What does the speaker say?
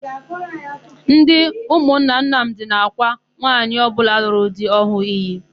Ndị ụmụnna Nnamdị na-ákwà nwaanyị ọbụla lụrụ di ọhụụ iyi.